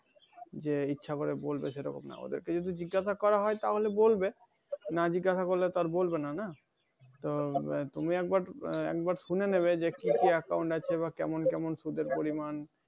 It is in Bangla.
যে ইচ্ছা করে বলবে এরকম না। ওদেরকে যদি জিজ্ঞাসা করা হয় তাহলে বলবে, না জিজ্ঞাসা করলে তো আর বলবে না। না?